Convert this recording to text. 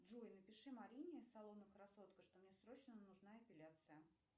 джой напиши марине из салона красотка что мне срочно нужна эпиляция